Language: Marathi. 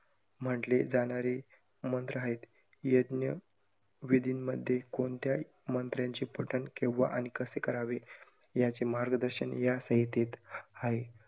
म्हंटले जाणारे मंत्र आहेत. यज्ञ विधीमध्ये कोणत्याही मंत्राचे पठण केव्हा आणि कसे करावे याचे मार्गदर्शन या संहितेत आहे.